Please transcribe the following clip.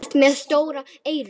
Þú ert með stór eyru.